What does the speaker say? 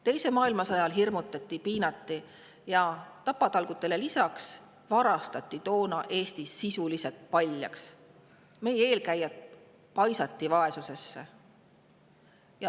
Teise maailmasõja ajal hirmutati Eestit ning lisaks piinamisele ja tapatalgutele varastati Eesti toona sisuliselt paljaks, meie eelkäijad paisati vaesusesse.